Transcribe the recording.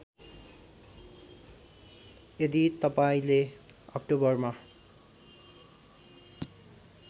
यदि तपाईँंले अक्टोबरमा